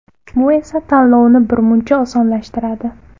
Bu esa tanlovni birmuncha osonlashtiradi.